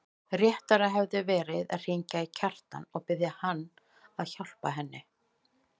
Réttara hefði verið að hringja í Kjartan og biðja hann að hjálpa henni.